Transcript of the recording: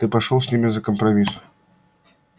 ты пошёл с ними за компромисс